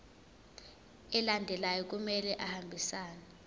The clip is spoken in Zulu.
alandelayo kumele ahambisane